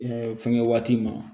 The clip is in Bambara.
fɛngɛ waati ma